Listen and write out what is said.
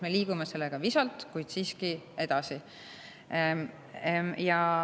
Me liigume sellega visalt, aga siiski edasi.